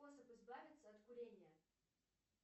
способ избавиться от курения